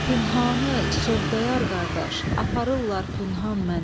Pünhanı, sövdayar qardaş, aparırlar pünhan məni.